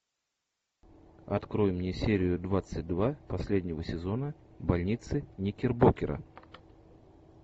открой мне серию двадцать два последнего сезона больницы никербокера